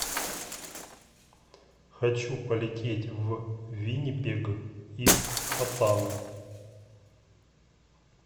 хочу полететь в виннипег из хотана